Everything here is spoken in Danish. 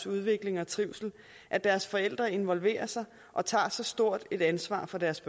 udvikling og trivsel at deres forældre involverer sig og tager så stort et ansvar for deres